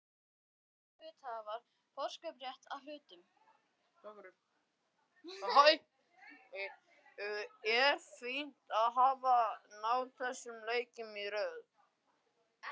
Er fínt að hafa náð þessum leikjum í röð?